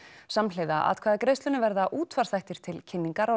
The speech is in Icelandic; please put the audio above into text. samhliða atkvæðagreiðslunni verða útvarpsþættir til kynningar á